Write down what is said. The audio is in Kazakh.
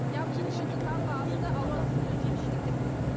алуан түрлі жеміс жидектер болуы керек